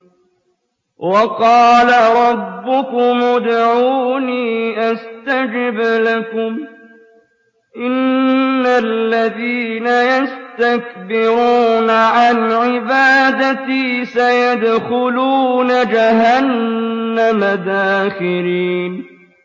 وَقَالَ رَبُّكُمُ ادْعُونِي أَسْتَجِبْ لَكُمْ ۚ إِنَّ الَّذِينَ يَسْتَكْبِرُونَ عَنْ عِبَادَتِي سَيَدْخُلُونَ جَهَنَّمَ دَاخِرِينَ